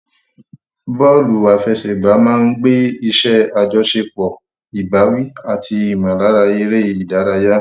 Bọ́ọ̀lù àfẹsẹ̀gbá máa ń gbé iṣẹ́ àjọṣepọ̀, ìbáwí, àti ìmọ̀lára eré ìdárayá.